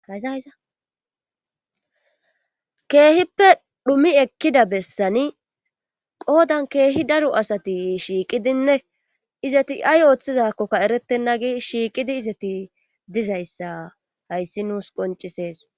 Hazayizakeehippe dhumi ekkida bessani qoodan keehi daro asati shiiqidinne izati ay ooththizakkokka eretenna gi shiiqidi izati dizayssa hayssi nuus qoncisees.